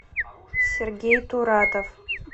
сергей туратов